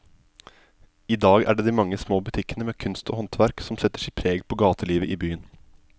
I dag er det de mange små butikkene med kunst og håndverk som setter sitt preg på gatelivet i byen.